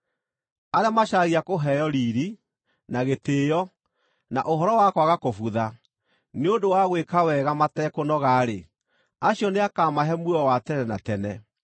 Arĩa macaragia kũheo riiri, na gĩtĩĩo, na ũhoro wa kwaga kũbutha, nĩ ũndũ wa gwĩka wega matekũnoga-rĩ, acio nĩakamahe muoyo wa tene na tene.